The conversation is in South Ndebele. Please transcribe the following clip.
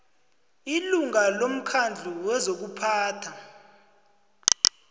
ilunga lomkhandlu wezokuphatha